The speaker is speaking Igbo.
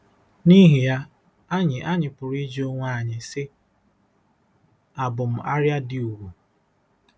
N’ihi ya, anyị anyị pụrụ ịjụ onwe anyị, sị: ‘Àbụ m “arịa dị ùgwù”?